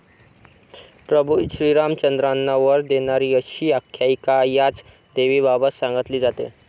प्रभू श्रीरामचंद्रांना वर देणारी अशी आख्यायिका याच देवीबाबत सांगितली जाते.